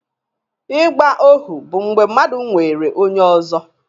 Ịgba ohu bụ mgbe mmadụ nwere onye ọzọ